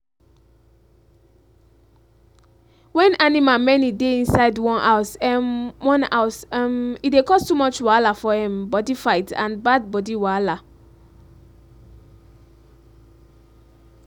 when animal many dey inside one house um one house um e dey cause too much wahala for um body fight and bad body wahala.